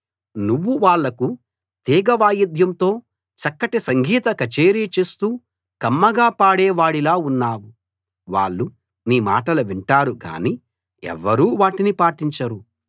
నువ్వు వాళ్లకు తీగ వాయిద్యంతో చక్కటి సంగీత కచేరీ చేస్తూ కమ్మగా పాడే వాడిలా ఉన్నావు వాళ్ళు నీ మాటలు వింటారు గానీ ఎవ్వరూ వాటిని పాటించరు